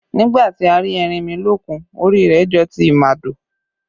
Nígbà tí a rí erinmilókun, orí rẹ jọ ti ìmàdò